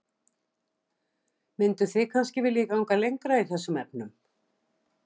Mynduð þið kannski vilja ganga lengra í þessum efnum?